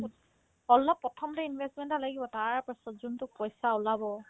অলপ প্ৰথমতে investment এটা লাগিব তাৰ পাছত যোনতো পইচা ওলাব